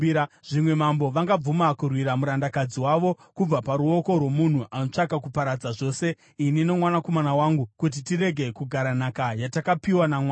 Zvimwe mambo vangabvuma kurwira murandakadzi wavo kubva paruoko rwomunhu anotsvaka kuparadza zvose ini nomwanakomana wangu kuti tirege kugara nhaka yatakapiwa naMwari.’